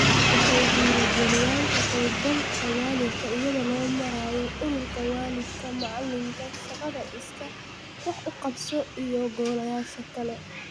Waxay dhiirigeliyaan ka qaybgalka waalidka iyada oo loo marayo Ururka Waalidka -Macallinka (PTA), shaqada iskaa wax u qabso iyo golayaasha kale.